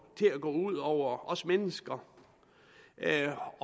ud over os mennesker det er